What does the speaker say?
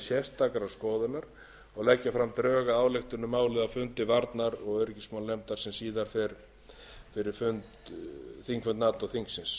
sérstakrar skoðunar og leggja fram drög að ályktun um málið á fundi varnar og öryggismálanefndar sem síðar fer fyrir þingfund nato þingsins